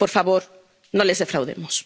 Por favor, no les defraudemos.